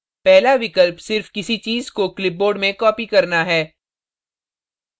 पहला विकल्प सिर्फ किसी चीज़ को clipboard में copy करना है